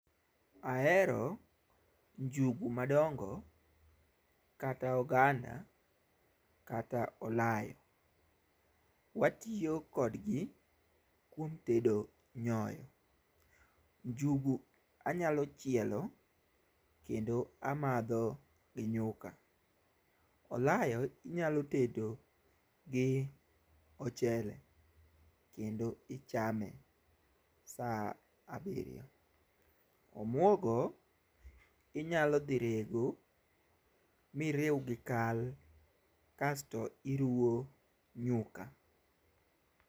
Ahero njugu madongo kata oganda kata olayo. Watiyo kodgi kuom tedo nyoyo. Njugu anyalo chielo kendo amadho gi nyuka. Olayo inyalo tedo gi ochele kendo ichame sa abiryo. Omuogo inyalo dhi rego miriw gi kal kasto iruwo nyuka.